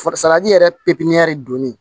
Fasadi yɛrɛ pepiniyɛri donnen